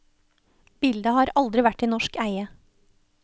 Bildet har aldri vært i norsk eie.